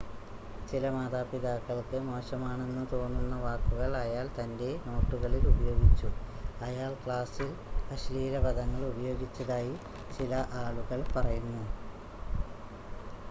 ചില മാതാപിതാക്കൾക്ക് മോശമാണെന്ന് തോന്നുന്ന വാക്കുകൾ അയാൾ തൻ്റെ നോട്ടുകളിൽ ഉപയോഗിച്ചു അയാൾ ക്ലാസിൽ അശ്ലീല പദങ്ങൾ ഉപയോഗിച്ചതായി ചില ആളുകൾ പറയുന്നു